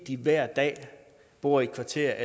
de hver dag bor i et kvarter